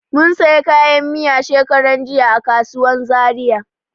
Mun sayi kayan miya shekaran jiya a kasuwan Zaria.